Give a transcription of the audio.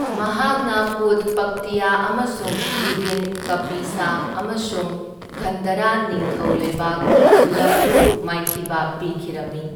ꯃꯍꯥꯛꯅ ꯄꯨꯗ ꯄꯛꯇꯤꯌꯥ ꯑꯃꯁꯨꯡ ꯖꯤꯕꯤꯟ ꯀꯄꯤꯁꯥ ꯑꯃꯁꯨꯡ ꯒꯟꯙꯥꯔꯥ ꯅꯤꯡꯊꯧ ꯂꯩꯕꯥꯛ ꯄꯨꯂꯞꯄꯨ ꯃꯥꯏꯊꯤꯕ ꯄꯤꯈꯤꯔꯝꯃꯤ꯫